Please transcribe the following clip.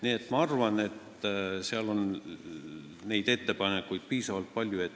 Nii et ma arvan, et seal on neid ettepanekuid piisavalt palju.